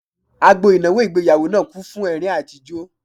Agbo ìnáwó ìgbéyàwó náà kún fún ẹ̀rín àti ijó